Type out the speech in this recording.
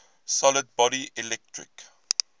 solid body electric